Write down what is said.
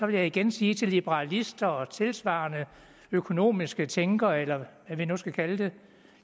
vil jeg igen sige til liberalister og tilsvarende økonomiske tænkere eller hvad vi nu skal kalde dem